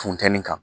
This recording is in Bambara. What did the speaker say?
Funteni kan